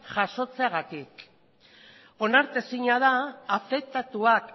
jasotzeagatik onartezina da afektatuak